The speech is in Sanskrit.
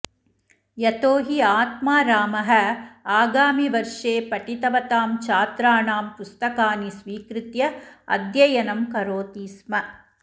यतो हि आत्मारामः आगामिवर्षे पठितवतां छात्राणां पुस्तकानि स्वीकृत्य अध्ययनं करोति स्म